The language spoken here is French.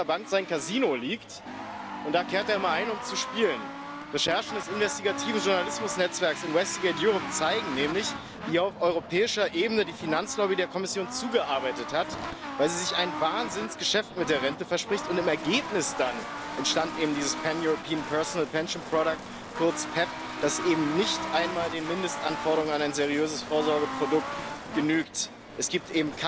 Madame la Présidente, le financement des retraites est avant tout une spéculation, certes, de bon père de famille, mais une spéculation quand même. On met le moins possible sur la table pour toucher le plus possible, le plus longtemps possible. Dès lors, aucun système n'est satisfaisant ni les financements publics, toujours intimement liés au chômage ou au travail, selon les moments, dont beaucoup d'ailleurs ont fait l'objet